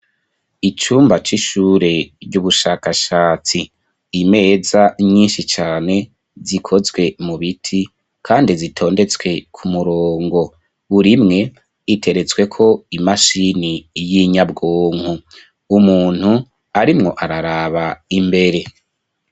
Icumba c'ishure ry'ubushakashatsi imeza nyinshi cyane zikozwe mu biti kandi zitondetswe ku murongo burimwe iteretswe ko imashini y'inyabwonko umuntu arimwo araraba imbere.